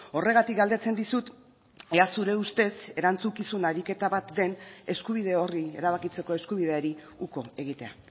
horregatik galdetzen dizut ea zure ustez erantzukizun ariketa bat den eskubide horri erabakitzeko eskubideari uko egitea